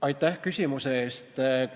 Aitäh küsimuse eest!